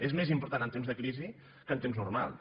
és més important en temps de crisi que en temps normals